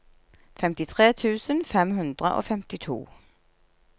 femtitre tusen fem hundre og femtito